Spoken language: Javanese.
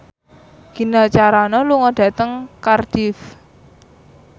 Gina Carano lunga dhateng Cardiff